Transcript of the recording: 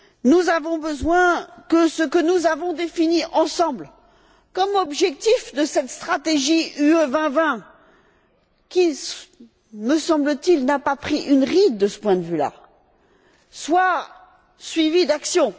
Nous avons besoin que ce que nous avons défini ensemble comme objectifs de cette stratégie UE 2020 qui, me semble t il, n'a pas pris une ride, de ce point de vue là soit suivi d'actions.